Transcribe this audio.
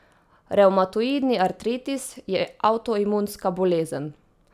Revmatoidni artritis je avtoimunska bolezen.